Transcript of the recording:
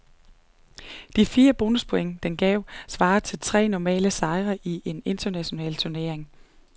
De fire bonuspoint, den gav, svarer til tre normale sejre i en international turnering.